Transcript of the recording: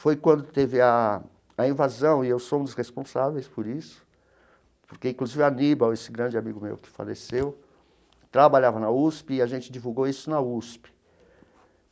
Foi quando teve a a invasão, e eu sou um dos responsáveis por isso, porque, inclusive, o Aníbal, esse grande amigo meu que faleceu, trabalhava na USP e a gente divulgou isso na USP.